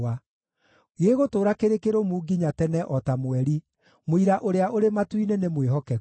gĩgũtũũra kĩrĩ kĩrũmu nginya tene o ta mweri, mũira ũrĩa ũrĩ matu-inĩ nĩ mwĩhokeku.”